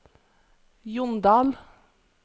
Jondal